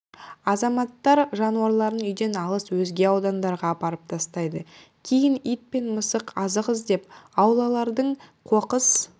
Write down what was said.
азаматтар жануарларын үйден алыс өзге аудандандарға апарып тастайды кейін ит пен мысық азық іздеп аулалардың қоқыс